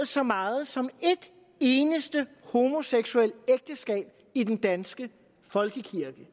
så meget som et eneste homoseksuelt ægteskab i den danske folkekirke det